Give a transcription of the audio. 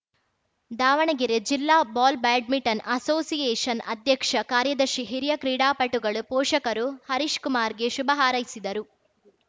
ದಾವಣಗೆರೆ ಜಿಲ್ಲಾ ball badminton association ಅಧ್ಯಕ್ಷ ಕಾರ್ಯದರ್ಶಿ ಹಿರಿಯ ಕ್ರೀಡಾಪಟುಗಳು ಪೋಷಕರು ಹರೀಶಕುಮಾರ್‌ಗೆ ಶುಭ ಹಾರೈಸಿದರು